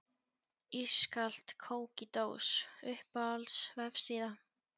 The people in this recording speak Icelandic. Ískalt kók í dós Uppáhalds vefsíða?